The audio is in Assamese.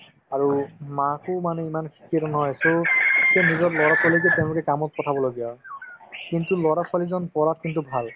আৰু মাকো মানে ইমান নহয় নিজৰ ল'ৰা-ছোৱালিকে তেওঁলোকে কামত পঠাব লগীয়া হয় কিন্তু ল'ৰা-ছোৱালিজন পঢ়াত কিন্তু ভাল